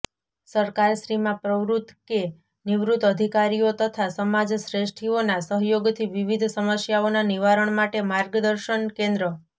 સરકારશ્રીમાં પ્રવૃત કે નિવૃત અધિકારીઓ તથા સમાજ શ્રેષ્ઠીઓના સહયોગથી વિવિધ સમસ્યાઓના નિવારણ માટે માર્ગદર્શન કેન્દ્ર